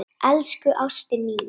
Elsku ástin mín.